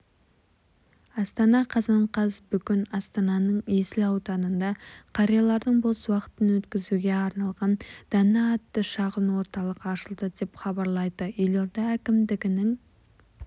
астана қазан қаз бүгін астананың есіл ауданында қариялардың бос уақытын өткізуге арналған дана атты шағын орталық ашылды деп хабарлайды елорда әкімдігінің